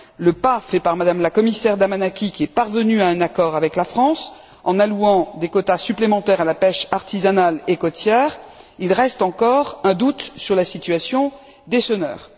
le pas fait par Mme la commissaire Damanaki, qui est parvenue à un accord avec la France, en allouant des quotas supplémentaires à la pêche artisanale et côtière il reste encore un doute sur la situation des senneurs.